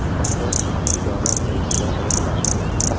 Bu haqda idora saytida aytiladi .